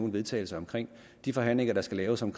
vedtagelse om de forhandlinger der skal laves om